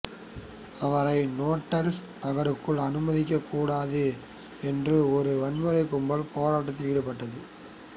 அவரை நேட்டால் நகருக்குள் அனுமதிக்கக் கூடாது என்று ஒரு வன்முறைக் கும்பல் போராட்டத்தில் ஈடுபட்டது